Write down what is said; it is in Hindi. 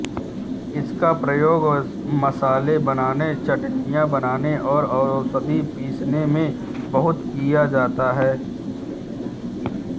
इसका प्रयोग मसाले बनाने चटनियाँ बनाने और औषधि पीसने में बहुत किया जाता है